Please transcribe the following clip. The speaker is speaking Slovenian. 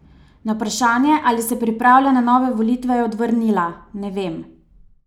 Na vprašanje, ali se pripravlja na nove volitve, je odvrnila: "Ne vem.